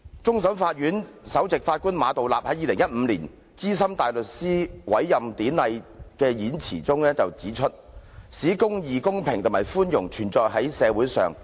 終審法院首席法官馬道立在2015年資深大律師委任典禮上致辭時表示："法律使公義、公平及寬容存在於社會上。